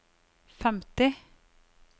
femti